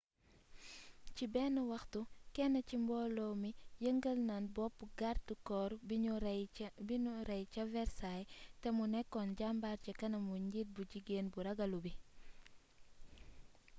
ci ben waxtu ken ci mbolo mi yengal na bopp gardécorp biniu rey ca versailles té mu nekon jambar ci kanamu njiit bu jigen bu ragalu bii